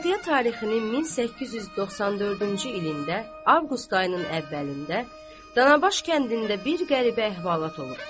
Miladiyyə tarixinin 1894-cü ilində avqust ayının əvvəlində, Danabaş kəndində bir qəribə əhvalat olubdur.